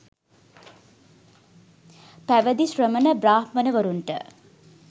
පැවිදි ශ්‍රමණ බ්‍රාහ්මණවරුන්ට